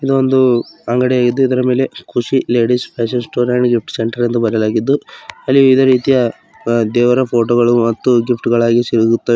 ಇದು ಒಂದು ಅಂಗಡಿಯಾಗಿದು ಇದರ ಮೇಲೆ Khushi ladies fashion store and gift centre ಎಂದು ಬದಲಾಗಿದ್ದು ಅಲ್ಲಿ ವಿವಿಧ ರೀತಿಯ ದೇವರ ಫೋಟೋ ಗಳು ಮತ್ತು ಗಿಫ್ಟ್ ಗಳಾಗಿ ಸಿಗುತ್ತದೆ.